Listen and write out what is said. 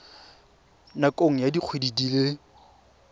nakong ya dikgwedi di le